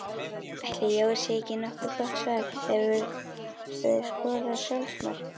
Ætli Jói sé ekki nokkuð gott svar Hefurðu skorað sjálfsmark?